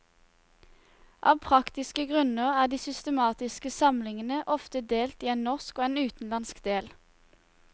Av praktiske grunner er de systematiske samlingene ofte delt i en norsk og en utenlandsk del.